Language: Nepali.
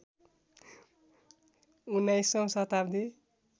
१९औं शताब्दी